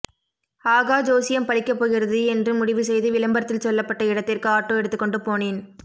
ஆகா ஜோசியம் பலிக்கப்போகிறது என்று முடிவு செய்து விளம்பரத்தில் சொல்லப்பட்ட இடத்திற்கு ஆட்டோ எடுத்துக்கொண்டு போனேன்